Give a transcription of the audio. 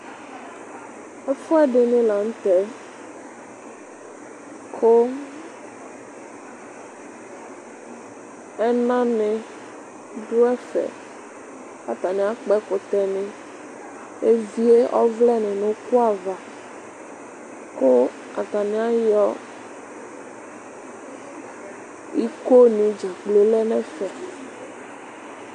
Ɛfʋɛfini lanʋ tɛ kʋ ɛna ni dʋ ɛfɛ atani akpɔ ɛkʋtɛ evie ɔvlɛ nʋ uku ava kʋ atani ayɔ ikoni dzakplo lɛnʋ ɛfɛ